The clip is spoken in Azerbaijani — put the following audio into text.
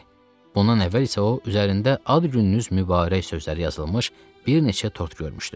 Bundan əvvəl isə o üzərində "Ad gününüz mübarək" sözləri yazılmış bir neçə tort görmüşdü.